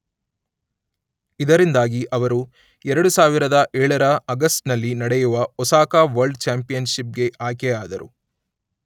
ಇದರಿಂದಾಗಿ ಅವರು ಎರಡು ಸಾವಿರದ ಏಳರ ಆಗಸ್ಟ್ ನಲ್ಲಿ ನಡೆಯುವ ಒಸಾಕ ವರ್ಲ್ಡ್ ಚ್ಯಾಂಪಿಯನ್ಷಿಪ್ ಗೆ ಆಯ್ಕೆಯಾದರು.